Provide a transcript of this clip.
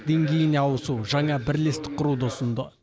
деңгейіне ауысу жаңа бірлестік құруды ұсынды